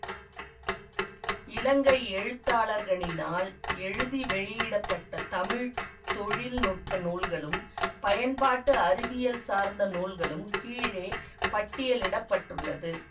இலங்கை எழுத்தாளர்களினால் எழுதி வெளியிட பட்ட தமிழ் தொழில் நுட்ப நூல்களும் பயன்பாட்டு அறிவியல் சார்ந்த நூல்களும் கீழே பட்டியலிட பட்டுள்ளது